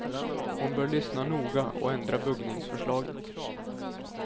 Hon bör lyssna noga och ändra buggningsförslaget.